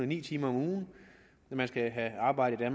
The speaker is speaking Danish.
ni timer om ugen man skal have arbejdet i